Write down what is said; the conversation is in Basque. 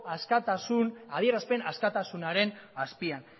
adierazpen askatasunaren azpian